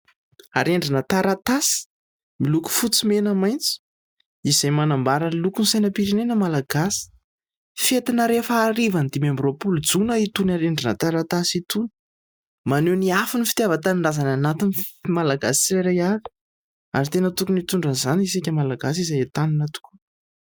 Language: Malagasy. Arendrina taratasy miloko fotsy, mena, maitso is5ay manambara ny lokon'ny sainam-pirenena malagasy. Fentina rehefa harivan'ny dimy amby roapolo jona itony arendrina taratasy itony. Maneho ny afon'ny fitiavan-tanindrazana anatin'ny Malagasy tsirairay avy, ary tokony hitondra izany isika Malagasy izay entanina tokoa.